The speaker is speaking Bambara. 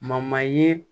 ye